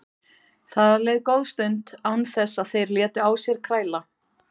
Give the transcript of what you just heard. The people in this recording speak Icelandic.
Það leið góð stund án þess að þeir létu á sér kræla.